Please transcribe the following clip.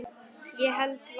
Ég held varla.